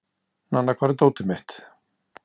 Nanna, hvar er dótið mitt?